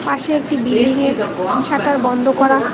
পাশে একটি বিল্ডিংয়ের শাটার বন্ধ করা।